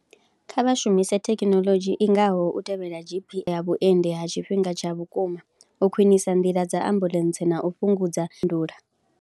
Kha vha shumise thekinoḽodzhi i ngaho u tevhela GP ya vhuendi ha tshifhinga tsha vhukuma, u khwinisa nḓila dza ambuḽentse na u fhungudza .